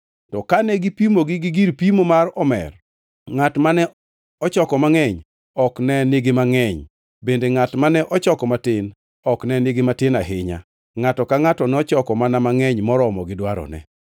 To kane gipimogi gi gir pimo mar omer, ngʼat mane ochoko mangʼeny ok ne nigi mangʼeny bende ngʼat mane ochoko matin ok ne nigi matin ahinya. Ngʼato ka ngʼato nochoko mana mangʼeny moromo gi dwarone.